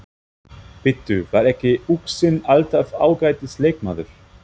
Bíddu, var ekki Uxinn alltaf ágætis leikmaður?